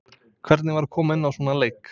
Hvernig var að koma inná í svona leik?